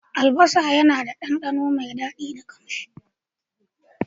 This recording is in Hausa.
Albasa yana ba abinci dandano mai daɗi da ƙamshi.